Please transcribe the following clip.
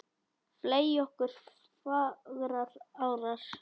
fley ok fagrar árar